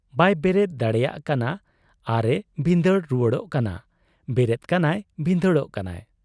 ᱵᱟᱭ ᱵᱮᱨᱮᱫ ᱫᱟᱲᱮᱭᱟᱜ ᱠᱟᱱᱟ ᱟᱨ ᱮ ᱵᱷᱤᱸᱫᱟᱹᱲ ᱨᱩᱣᱟᱹᱲᱚᱜ ᱠᱟᱱᱟ ᱾ ᱵᱮᱨᱮᱫ ᱠᱟᱱᱟᱭ ᱵᱷᱤᱸᱫᱟᱹᱲᱚᱜ ᱠᱟᱱᱟᱭ ᱾